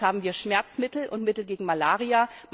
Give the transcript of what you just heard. Schon jetzt haben wir Schmerzmittel und Mittel gegen Malaria.